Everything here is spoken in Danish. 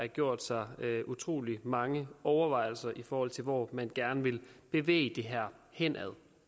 gjort sig utrolig mange overvejelser i forhold til hvor man gerne vil bevæge det her hen